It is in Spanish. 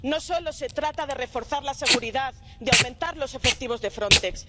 No solo se trata de reforzar la seguridad y aumentar los efectivos de Frontex.